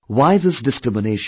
Why this discrimination